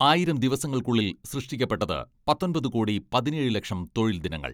ആയിരം ദിവസങ്ങൾക്കുളളിൽ സൃഷ്ടിക്കപ്പെട്ടത് പത്തൊമ്പത് കോടി പതിനേഴ് ലക്ഷം തൊഴിൽ ദിനങ്ങൾ.